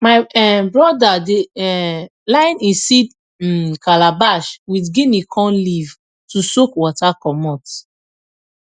my um brother dey um line e seed um calabash with guinea corn leaf to soak water commot